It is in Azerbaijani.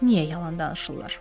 Niyə yalan danışırlar?